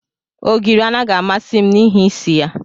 Ogiri anaghị amasị m n'ihi isi ya.